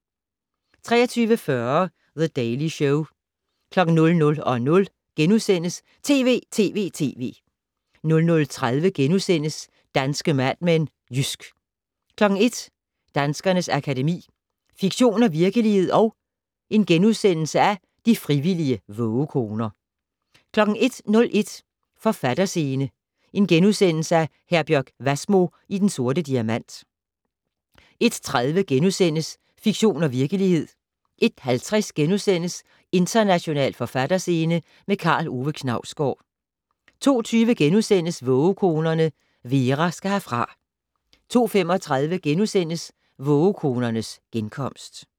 23:40: The Daily Show 00:00: TV!TV!TV! * 00:30: Danske Mad Men: Jysk * 01:00: Danskernes Akademi: Fiktion og virkelighed & De frivillige vågekoner * 01:01: Forfatterscene: Herbjørg Wassmo i Den Sorte Diamant * 01:30: Fiktion og virkelighed * 01:50: International forfatterscene - med Karl Ove Knausgård * 02:20: Vågekonerne - Vera skal herfra * 02:35: Vågekonernes genkomst *